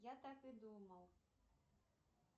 я так и думал